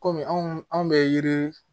Kɔmi anw bɛ yiri